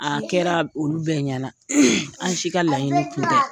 An kɛra olu bɛɛ ɲɛna an si ka laɲini tun tɛ.